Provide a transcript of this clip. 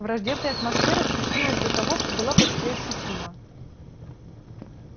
враждебная атмосфера сгустилась до того что была почти ощутима